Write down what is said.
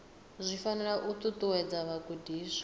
zwi fanela u ṱuṱuwedza vhagudiswa